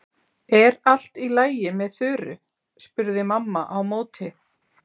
Er allt í lagi með Þuru? spurði mamma á móti.